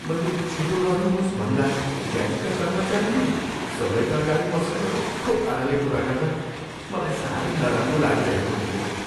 मैले छिटो गर्नुहोस् भन्दा ब्याङ्कका कर्मचारीले सबैका अगाडि मसँग रुखो पाराले कुरा गर्दा मलाई सारै नराम्रो लागिरहेको थियो।